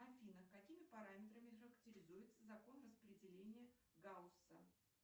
афина какими параметрами характеризуется закон распределения гаусса